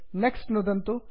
next नुदन्तु